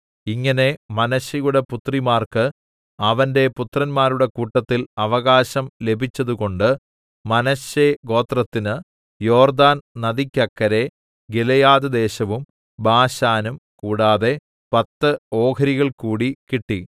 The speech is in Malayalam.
ഇങ്ങനെ മനശ്ശെയുടെ പുത്രിമാർക്ക് അവന്റെ പുത്രന്മാരുടെ കൂട്ടത്തിൽ അവകാശം ലഭിച്ചതുകൊണ്ട് മനശ്ശെ ഗോത്രത്തിന് യോർദ്ദാന്‍ നദിക്കക്കരെ ഗിലെയാദ്‌ദേശവും ബാശാനും കൂടാതെ പത്ത് ഓഹരികൾകൂടി കിട്ടി